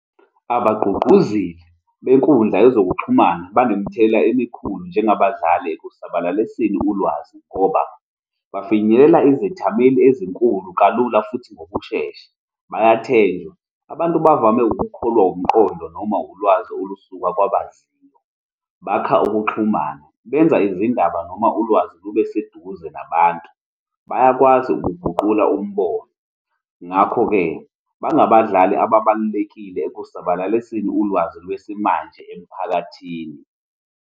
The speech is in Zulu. Abagqugquzeli benkundla yezokuxhumana banemthelela emikhulu njengabadlali ekusabalaliseni ulwazi ngoba bafinyelela izethameli ezinkulu kalula futhi ngokushesha. Bayathenjwa. Abantu bavame ukukholwa umqondo noma ulwazi olusuka kwabaziyo, bakha ukuxhumana, benza izindaba noma ulwazi lube seduze nabantu bayakwazi ukuguqula umbono. Ngakho-ke, bangabadlali ababalulekile ekusabalaliseni ulwazi lwesimanje emiphakathini.